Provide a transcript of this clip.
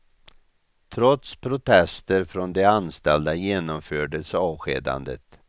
Trots protester från de anställda genomfördes avskedandet.